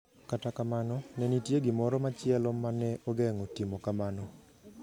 Kata kamano, ne nitie gimoro machielo ma ne ogeng’o timo kamano.